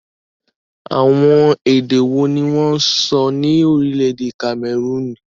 Àwọn èdè wo ni wọ́n ń sọ ní orílẹ̀èdè Cameroon?